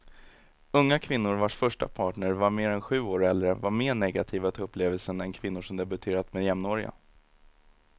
Unga kvinnor vars första partner var mer än sju år äldre var mer negativa till upplevelsen än kvinnor som debuterat med jämnåriga.